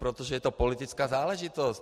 Protože je to politická záležitost.